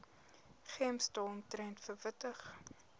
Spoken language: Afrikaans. gems daaromtrent verwittig